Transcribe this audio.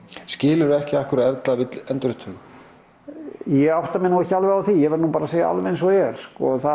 skilur þú ekki af hverju Erla vill endurupptöku ég átta mig nú ekki alveg á því ég verð að segja alveg eins og er